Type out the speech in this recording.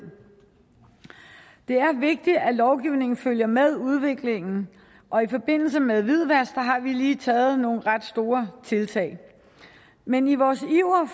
det er vigtigt at lovgivningen følger med udviklingen og i forbindelse med hvidvask har vi lige gjort nogle ret store tiltag men i vores iver